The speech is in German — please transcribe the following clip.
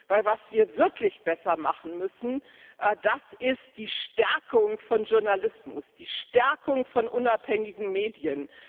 Denn was wir wirklich besser machen müssen, das ist die Stärkung von Journalismus, die Stärkung von unabhängigen Medien.